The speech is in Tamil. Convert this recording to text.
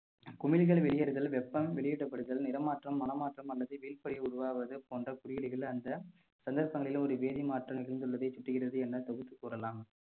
குமிழிகள் வெளியேறுதல் வெப்பம் வெளியேற்றப்படுதல் நிறமாற்றம் மனமாற்றம் அல்லது உருவாவது போன்ற குறியீடுகள்ல அந்த சந்தர்ப்பங்களிலே ஒரு வேதி மாற்றம் நிகழ்ந்துள்ளதை சுட்டுகிறது என தொகுத்து கூறலாம்